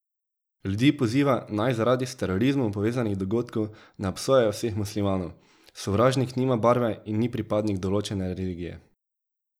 Ljudi poziva, naj zaradi s terorizmom povezanih dogodkov ne obsojajo vseh muslimanov: 'Sovražnik nima barve in ni pripadnik določene religije.